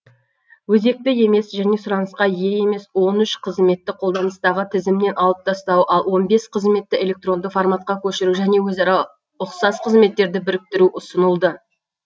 өзекті емес және сұранысқа ие емес он үш қызметті қолданыстағы тізімнен алып тастау ал он бес қызметті электронды форматқа көшіру және өзара ұқсас қызметтерді біріктіру ұсынылды